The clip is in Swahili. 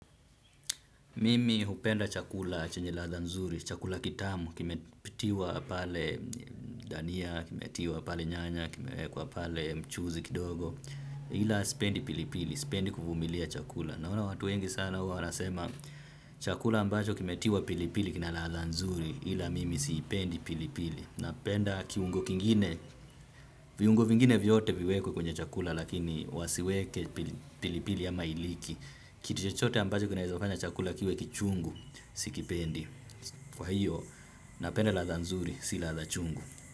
Mimi hupenda chakula chenye ladha nzuri, chakula kitamu, kimetiwa pale dania, kimetiwa pale nyanya, kimewekwa pale mchuzi kidogo, ila sipendi pilipili, sipendi kuvumilia chakula. Naona watu wengi sana huwa wanasema chakula ambacho kimetiwa pilipili kina ladha nzuri, ila mimi siipendi pilipili. Napenda kiungo kingine, viungo vingine vyote viwekwe kwenye chakula lakini wasiweke pilipili ama iliki. Kitu chochote ambacho kinaeza fanya chakula kiwe kichungu. Sikipendi. Kwa hiyo, napenda ladha nzuri, sila ladha chungu.